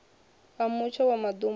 a mutsho wa maḓumbu na